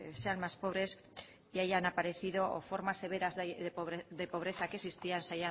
sean más pobres y hayan aparecido o forma severa de pobreza que existían se